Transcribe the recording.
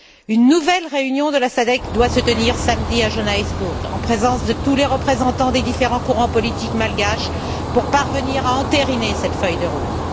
Une nouvelle réunion de la SADC doit se tenir samedi à Johannesburg en présence de tous les représentants des différents courants politiques malgaches pour parvenir à entériner cette feuille de route.